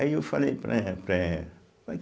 Aí eu falei para eh para ela.